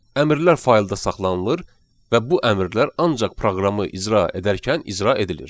Əmrlər faylda saxlanılır və bu əmrlər ancaq proqramı icra edərkən icra edilir.